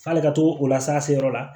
F'ale ka to o la sa se yɔrɔ la